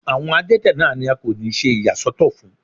Àwọn adẹ́tẹ̀ náà ni a kò ní ṣe ìyà sọ́tọ̀ fún.